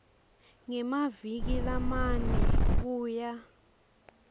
ngemaviki lamane kuya